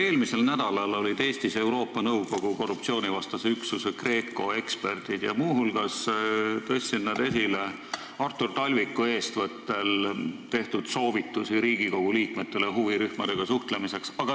Eelmisel nädalal olid Eestis Euroopa Nõukogu korruptsioonivastase üksuse eksperdid, kes muu hulgas tõstsid esile Artur Talviku eestvõttel tehtud soovitusi Riigikogu liikmetele huvirühmadega suhtlemiseks.